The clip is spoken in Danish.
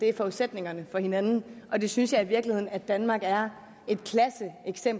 er forudsætningerne for hinanden og det synes jeg i virkeligheden at danmark er